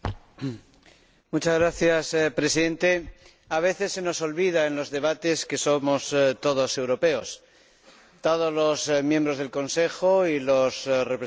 Señor Presidente, a veces se nos olvida en los debates que somos todos europeos, todos los miembros del Consejo y los representantes del Parlamento Europeo